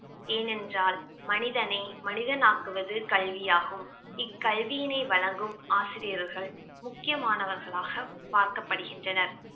ஏனென்றால் மனிதனை மனிதனாக்குவது கல்வியாகும் இக்கல்வியினை வழங்கும் ஆசிரியர்கள் முக்கியமானவர்களாக பார்க்கப்படுகின்றனர்